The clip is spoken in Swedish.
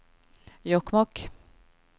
Jokkmokk